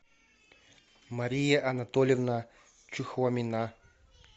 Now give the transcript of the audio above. мария анатольевна чухомина